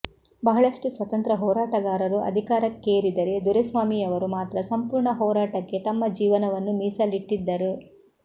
ಬಹಳಷ್ಟು ಸ್ವತಂತ್ರ ಹೋರಾಟಗಾರರು ಅಧಿಕಾರಕ್ಕೇರಿದರೆ ದೊರೆಸ್ವಾಮಿಯವರು ಮಾತ್ರ ಸಂಪೂರ್ಣ ಹೋರಾಟಕ್ಕೆ ತಮ್ಮ ಜೀವನವನ್ನು ಮೀಸಲಿಟ್ಟಿದ್ದರು